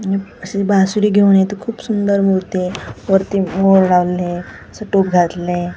आणि अशी बासुरी घेऊन इथं खूप सुंदर मूर्ती आहे वरती मोर लावलेले आहेत असं टोप घातलेलय.